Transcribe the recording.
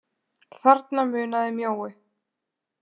Þarna munaði mjóu.